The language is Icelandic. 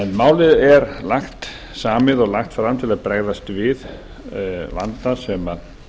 málið er samið og lagt fram til að bregðast við vanda sem